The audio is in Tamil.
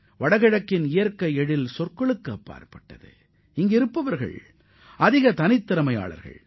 வடகிழக்கு மாநிலங்களின் இயற்கை அழகிற்கு ஈடு இணை ஏதுமில்லை இப்பகுதி மக்களும் மிகுந்த திறமைசாலிகள்